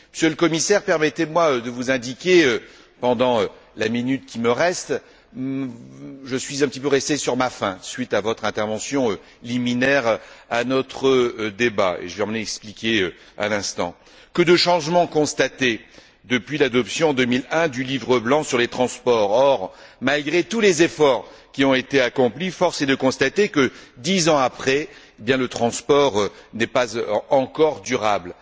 Monsieur le Commissaire, permettez moi de vous rappeler pendant la minute qui me reste je suis quelque peu resté sur ma faim suite à votre intervention liminaire dans notre débat et je vais m'en expliquer à l'instant combien de changements ont été constatés depuis l'adoption en 2001 du livre blanc sur les transports. Or, malgré tous les efforts qui ont été accomplis, force est de constater que, dix ans plus tard, le transport n'est pas encore durable.